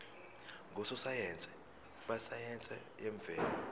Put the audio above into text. ngososayense besayense yemvelo